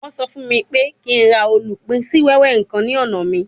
Wọ́n sọ fún mi pé kí n ra olupin si wewe kan ní ọ̀nà mi